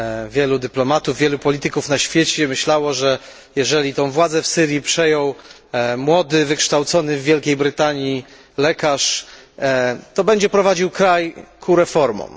Wielu dyplomatów, wielu polityków na świecie myślało, że jeżeli tę władzę w Syrii przejął młody, wykształcony w Wielkiej Brytanii lekarz, to będzie prowadził kraj ku reformom.